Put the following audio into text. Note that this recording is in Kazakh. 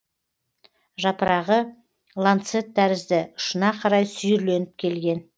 жапырағы ланцет тәрізді ұшына қарай сүйірленіп келген